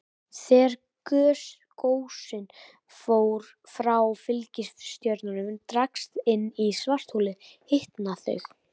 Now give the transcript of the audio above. Þegar gösin frá fylgistjörnunni dragast inn í svartholið hitna þau.